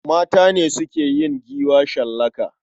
Mata ne suke yin giwa shallaka.